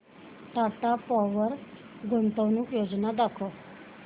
Tata Power गुंतवणूक योजना दाखव